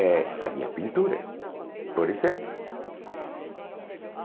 É as minhas pinturas, por exemplo.